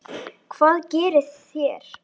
Hvað gerið þér?